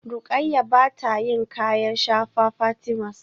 Rukayyah bata yin kayan shafa Fatimas